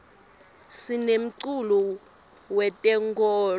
sinemculo we tenkolo